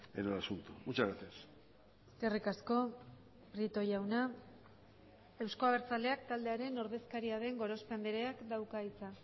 en el asunto muchas gracias eskerrik asko prieto jauna euzko abertzaleak taldearen ordezkaria den gorospe andreak dauka hitza